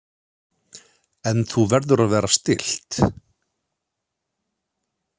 En þú verður að vera stillt.